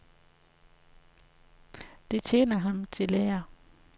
Det tjener ham til ære.